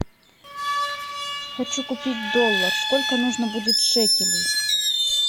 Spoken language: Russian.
хочу купить доллар сколько нужно будет шекелей